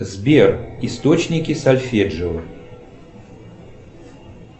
сбер источники сольфеджио